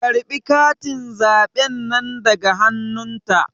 Karɓe katin zaɓen nan daga hannun ta